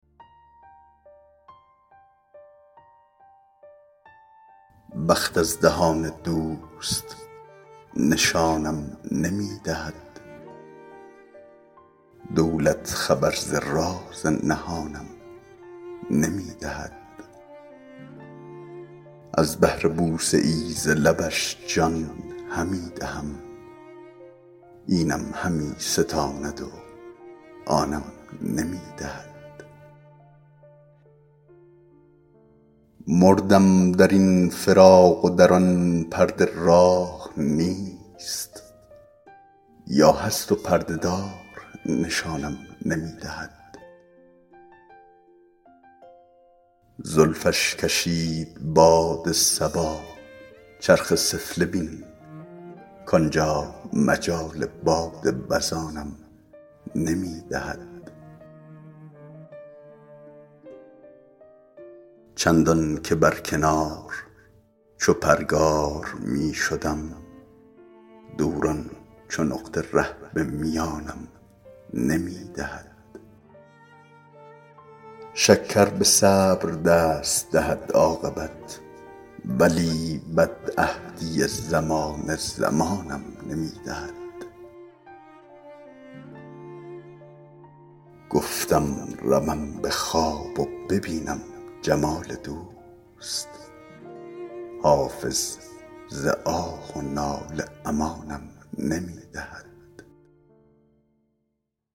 بخت از دهان دوست نشانم نمی دهد دولت خبر ز راز نهانم نمی دهد از بهر بوسه ای ز لبش جان همی دهم اینم همی ستاند و آنم نمی دهد مردم در این فراق و در آن پرده راه نیست یا هست و پرده دار نشانم نمی دهد زلفش کشید باد صبا چرخ سفله بین کانجا مجال باد وزانم نمی دهد چندان که بر کنار چو پرگار می شدم دوران چو نقطه ره به میانم نمی دهد شکر به صبر دست دهد عاقبت ولی بدعهدی زمانه زمانم نمی دهد گفتم روم به خواب و ببینم جمال دوست حافظ ز آه و ناله امانم نمی دهد